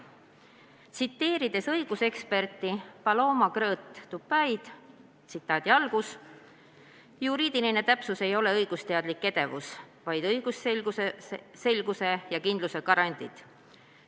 Tsiteerides õiguseksperti Paloma Krõõt Tupayd: "Juriidiline täpsus ja metoodika ei ole õigusteaduslik edevus, vaid õigusselguse ja -kindluse garandid.